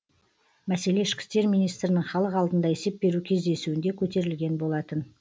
мәселе ішкі істер министрінің халық алдында есеп беру кездесуінде көтерілген болатын